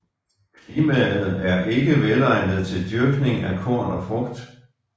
Klimaet er ikke velegnet til dyrkning af korn og frugt